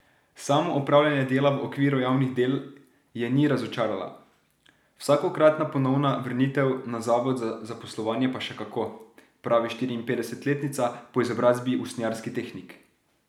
Samo opravljanje dela v okviru javnih del je ni razočaralo, vsakokratna ponovna vrnitev na zavod za zaposlovanje pa še kako, pravi štiriinpetdesetletnica, po izobrazbi usnjarski tehnik.